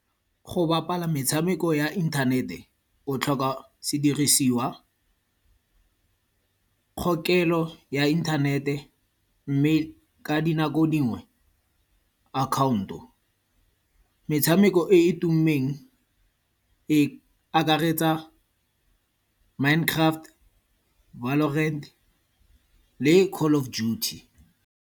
Go bapala metshameko ya inthanete, o tlhoka sedirisiwa, kgokelo ya inthanete mme ka dinako dingwe, account-o. Metshameko e e tummeng, e akaretsa Minecraft, Valorant le Call of Duty.